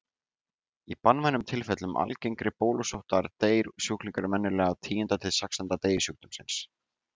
Í banvænum tilfellum algengari bólusóttar deyr sjúklingurinn venjulega á tíunda til sextánda degi sjúkdómsins.